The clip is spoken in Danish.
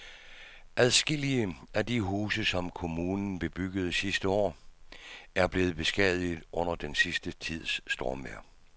Adskillige af de huse, som kommunen byggede sidste år, er blevet beskadiget under den sidste tids stormvejr.